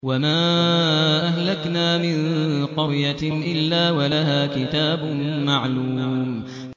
وَمَا أَهْلَكْنَا مِن قَرْيَةٍ إِلَّا وَلَهَا كِتَابٌ مَّعْلُومٌ